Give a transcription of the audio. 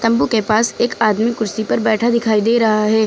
तंबू के पास एक आदमी कुर्सी पर बैठा दिखाई दे रहा है।